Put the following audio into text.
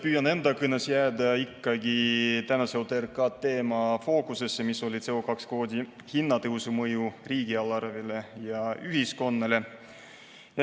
Püüan enda kõnes jääda ikkagi tänase OTRK teema fookusesse, see on CO2 kvoodi hinna tõusu mõju riigieelarvele ja ühiskonnale.